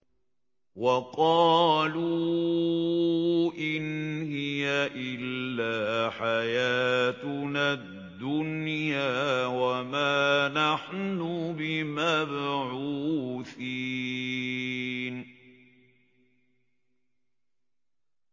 وَقَالُوا إِنْ هِيَ إِلَّا حَيَاتُنَا الدُّنْيَا وَمَا نَحْنُ بِمَبْعُوثِينَ